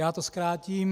Já to zkrátím.